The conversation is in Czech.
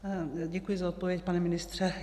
Děkuji za odpověď, pane ministře.